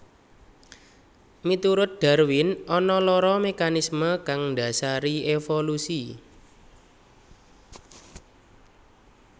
Miturut Darwin ana loro mekanismé kang ndhasari évolusi